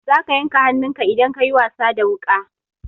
Za ka yanka hannunka idan ka yi wasa da wuƙa.